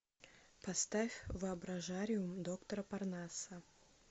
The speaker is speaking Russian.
поставь воображариум доктора парнаса